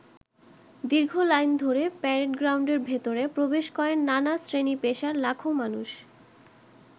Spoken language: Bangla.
দীর্ঘ লাইন ধরে প্যারেড গ্রাউন্ডের ভেতরে প্রবেশ করেন নানা শ্রেণী-পেশার লাখো মানুষ।